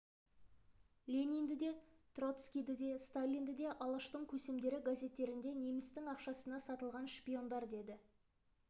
ленинді де троцкийді де сталинді де алаштың көсемдері газеттерінде немістің ақшасына сатылған шпиондар деді